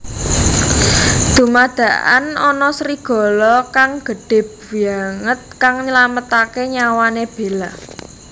Dumadakan ana serigala kang gédhé banget kang nylamataké nyawané Bella